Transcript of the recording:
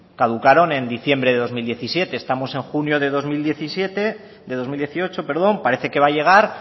caducaron en diciembre dos mil diecisiete estamos en junio de dos mil dieciocho parece que va a llegar